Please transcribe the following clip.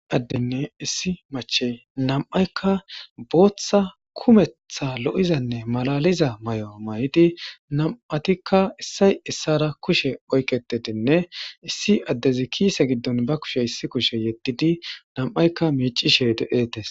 addenne issi machey nam7aykka booththa kumeththa lo7izanne malaliza may7o may7idi nam7atikka issay issara kushe oykketedinne issi addezi kiise giddon ba kushe issi kushe yeddidi nam7aykka miicishe de7etes